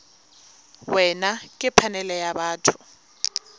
wena ke phanele ya batho